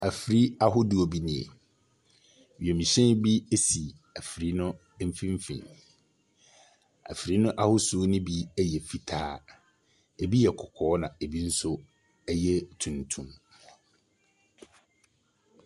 Afir ahodoɔ bi nie. Wiemhyɛn bi si afiri no mfimfini. Afiri no ahosu no bi yɛ fitaa. Ebi yɛ kɔkɔɔ na ebi nso yɛ tuntum.